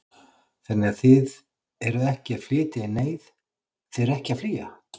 Þannig að þið eruð ekki að flytja í neyð, þið eruð ekki að flýja?